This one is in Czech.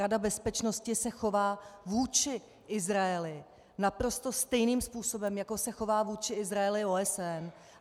Rada bezpečnosti se chová vůči Izraeli naprosto stejným způsobem, jako se chová vůči Izraeli OSN.